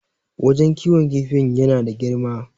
wajen kiwon kifin yana da girma